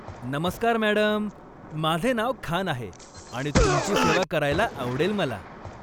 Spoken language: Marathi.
नमस्कार मॅडम, माझे नाव खान आहे आणि तुमची सेवा करायला आवडेल मला.